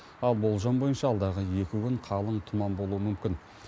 ал болжам бойынша алдағы екі күн қалың тұман болуы мүмкін